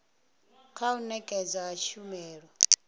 kha u nekedzwa ha tshumelo